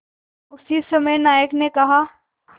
उसी समय नायक ने कहा